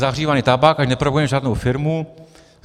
Zahřívaný tabák, ať nepropagujeme žádnou firmu.